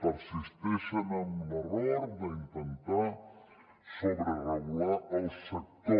persisteixen en l’error d’intentar sobreregular el sector